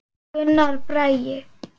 Gunnar Bragi.